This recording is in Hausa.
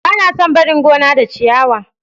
Ba na son barin gona da ciyawa.